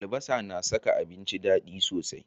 Albasa na saka abinci dadi sosai.